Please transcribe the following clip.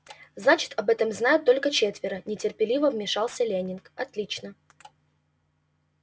значит об этом знают только четверо нетерпеливо вмешался лэннинг отлично